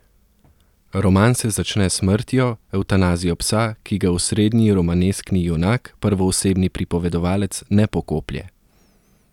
Roman se začne s smrtjo, evtanazijo psa, ki ga osrednji romaneskni junak, prvoosebni pripovedovalec, ne pokoplje.